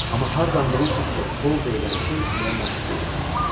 Amma hardan bilirsiz ki, qol deyilən şey elə məhz budur?